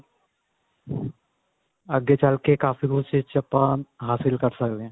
ਅੱਗੇ ਚੱਲ ਕੇ ਕਾਫੀ ਕੁੱਝ ਇਸ ਚ ਆਪਾਂ ਹਾਸਿਲ ਕਰ ਸਕਦੇ ਆ